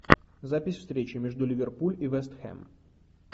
запись встречи между ливерпуль и вест хэм